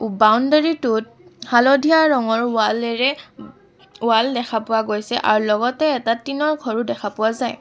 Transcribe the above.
Boundary টোত হালধীয়া ৰঙৰ ৱালেৰে ৱাল দেখা পোৱা গৈছে আৰু লগতে এটা টিনৰ ঘৰো দেখা পোৱা যায়।